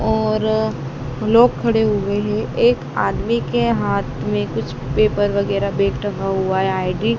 और लोग खडे हुए है एक आदमी के हाथ मे कुछ पेपर वगैरा बैग टंगा हुआ है आई_डी --